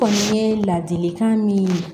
Kɔni ye ladilikan min ye